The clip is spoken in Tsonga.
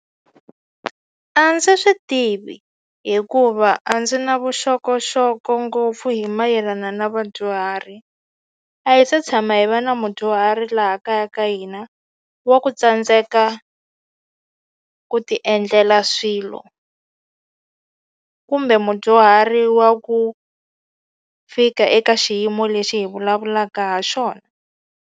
A ndzi swi tivi hikuva a ndzi na vuxokoxoko ngopfu hi mayelana na vadyuhari a hi se tshama hi va na mudyuhari laha kaya ka hina wa xa ku tsandzeka ku ti endlela swilo kumbe mudyuhari wa ku fika eka xiyimo lexi hi vulavulaka ha xona.